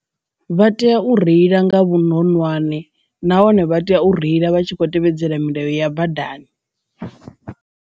Vha tea u reila nga vhuronwane nahone vha tea u reila vha tshi kho tevhedzela milayo ya badani.